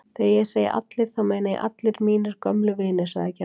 Þegar ég segi allir þá meina ég allir mínir gömlu vinir sagði Gerður.